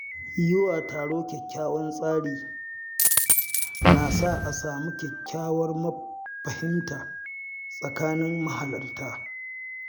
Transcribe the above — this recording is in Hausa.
Yiwa taro kyakkyawan tsari, na sa a samu kyakkyawar fahimta a tsakanin mahalarta.